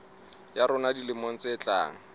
ya rona dilemong tse tlang